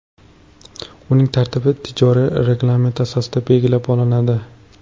Uning tartibi tijoriy reglament asosida belgilab olinadi.